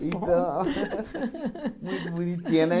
Então ó. Muito bonitinha, né?